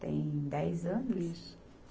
Tem dez anos? Isso